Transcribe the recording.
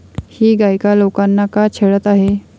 ही गायिका लोकांना का छळत आहे?